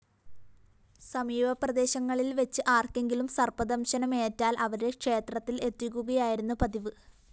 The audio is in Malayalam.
സമീപപ്രദേശങ്ങളില്‍ വെച്ച് ആര്‍ക്കെങ്കിലും സര്‍പ്പദംശനമേറ്റാല്‍ അവരെ ക്ഷേത്രത്തില്‍ എത്തിക്കുകയായിരുന്നു പതിവ്